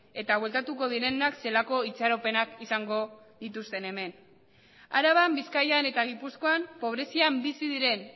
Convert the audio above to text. eta bueltatuko direnak zelako itxaropenak izango dituzten han araban bizkaian eta gipuzkoan pobrezian bizi diren